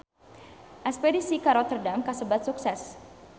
Espedisi ka Rotterdam kasebat sukses